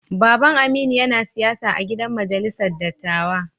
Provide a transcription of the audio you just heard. Baba'n Aminu yana siyasa a'gidan majalisar dattawa.